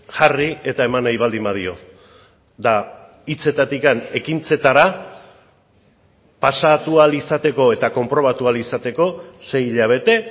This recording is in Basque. jarri eta eman nahi baldin badio hitzetatik ekintzetara pasatu ahal izateko eta konprobatu ahal izateko sei hilabete